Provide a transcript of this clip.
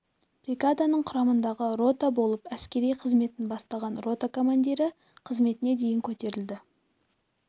бригаданың құрамындағы рота болып әскери қызметін бастаған рота командирі қызметіне дейін көтеріледі